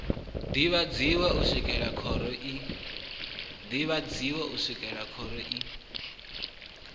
ḓivhadzwi u swikela khoro i